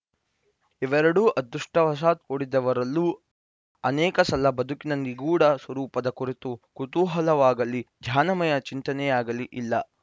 ಇವೆರಡೂ ಅದೃಷ್ಟವಶಾತ್‌ ಕೂಡಿದವರಲ್ಲೂ ಅನೇಕಸಲ ಬದುಕಿನ ನಿಗೂಢ ಸ್ವರೂಪದ ಕುರಿತು ಕುತೂಹಲವಾಗಲೀಧ್ಯಾನಮಯ ಚಿಂತನೆಯಾಗಲೀ ಇಲ್ಲ